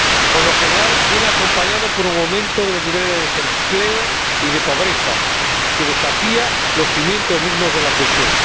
Por lo general, viene acompañada por un aumento de los niveles de desempleo y de pobreza, que desafía los cimientos mismos de la cohesión.